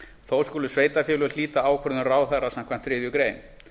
þó skulu sveitarfélög hlíta ákvörðun ráðherra samkvæmt þriðju grein